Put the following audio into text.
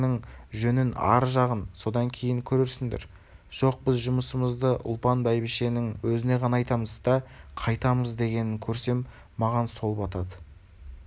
ар жағын содан кейін көрерсіңдер жоқ біз жұмысымызды ұлпан бәйбішенің өзіне ғана айтамыз да қайтамыз генін көрсем маған сол батады